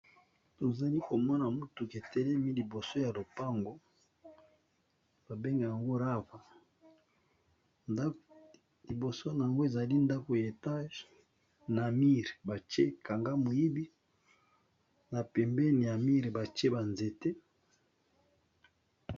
Tozali komona motuk etelemi liboso ya lopango ba bengi yango rava, liboso na yango ezali ndako ya etage na mire batie kanga moyibi na pembeni ya mire batie ba nzete.